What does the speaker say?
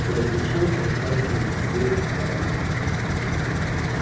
и обещаешь отдать нам все вальсы